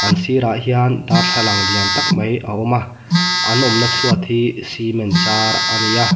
an sira hian darthlang lian tak mai a awm a an awmna chhuat hi cement char a ni a.